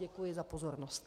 Děkuji za pozornost.